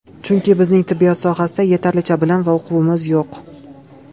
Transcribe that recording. Chunki bizning tibbiyot sohasida yetarlicha bilim va uquvimiz yo‘q.